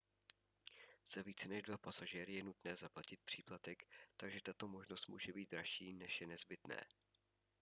za více než 2 pasažéry je nutné zaplatit příplatek takže tato možnost může být dražší než je nezbytné